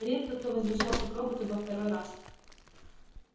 редко кто возвращался к роботу во второй раз